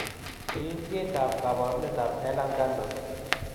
Kiintiet ab kabarunetab Ehlers Danlos